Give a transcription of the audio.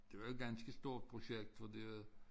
Det var jo et ganske stort projekt fordi at